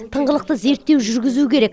тыңғылықты зерттеу жүргізу керек